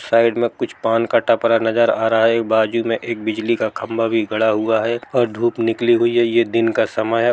Side मे कुछ पान का टपरा नजर आ रहा है बाजू मे एक बिजली का खंभा भी गड़ा हुआ है और धूप निकली हुई है ये दिन का समय है।